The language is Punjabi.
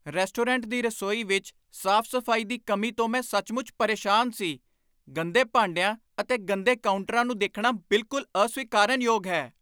ਰੈਸਟੋਰੈਂਟ ਦੀ ਰਸੋਈ ਵਿੱਚ ਸਾਫ਼ ਸਫ਼ਾਈ ਦੀ ਕਮੀ ਤੋਂ ਮੈਂ ਸੱਚਮੁੱਚ ਪਰੇਸ਼ਾਨ ਸੀ ਗੰਦੇ ਭਾਡਿਆਂ ਅਤੇ ਗੰਦੇ ਕਾਊਂਟਰਾਂ ਨੂੰ ਦੇਖਣਾ ਬਿਲਕੁਲ ਅਸਵੀਕਾਰਨਯੋਗ ਹੈ